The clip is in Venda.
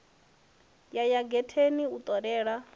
ya ya getheni u ṱolela